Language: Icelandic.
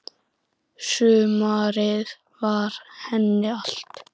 Sumarið var henni allt.